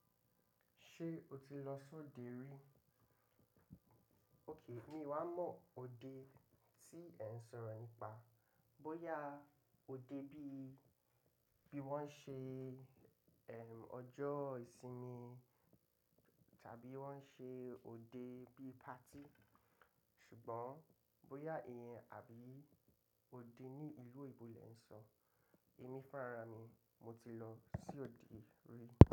Ṣé o ti lọ sòde rí? Okay, mi wá mọ òde tí ẹ ń sọ̀rọ̀ nípa, bóyá òde bíi, bí wọ́n ṣe, eh, ọjọ́ ìsinmi tàbí wọ́n ṣe òde bí party. Ṣùgbọ́n bóyá ìyẹn àbí òde ní ìlú oyinbo le ń sọ, èmi fúnra rami, mo ti lọ sí òde rí.